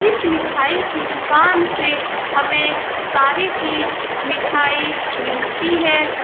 इस मिठाई की दूकान से हमे सारी चीज मिठाई मिलती है ।